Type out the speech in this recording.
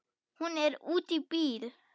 Hún er úti í bíl!